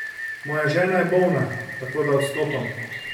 Moja žena je bolna, tako da odstopam.